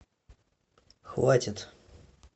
хватит